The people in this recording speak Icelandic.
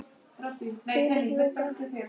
Hvílík lúka!